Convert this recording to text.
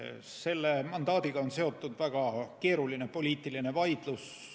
Selle mandaadiga on seotud väga keeruline poliitiline vaidlus.